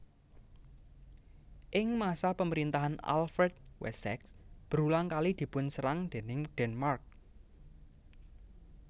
Ing masa pemerintahan Alfred Wessex berulang kali dipunserang déning Denmark